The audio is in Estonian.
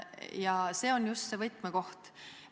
Ja see on just see võtmekoht.